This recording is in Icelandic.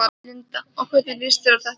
Linda: Og hvernig lýst þér á þetta?